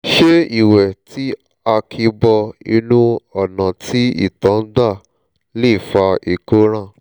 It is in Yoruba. ṣé ìwé tí a kì bọ inú ọ̀nà tí ìtọ̀ ń gbà lè fa ìkóràn?